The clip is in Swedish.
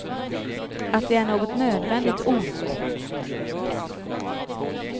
Att det är något nödvändigt ont.